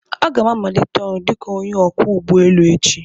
Aga m amanite ọrụ dika onye ọkwọ ụgbọ enu echi